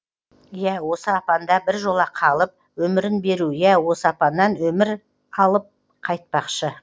иә осы апанда біржола қалып өмірін беру иә осы апаннан өмір алып қайтпақшы